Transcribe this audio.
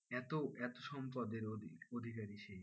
এতো এতো সম্পদের অধি অধিকারী সে,